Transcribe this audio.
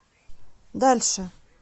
дальше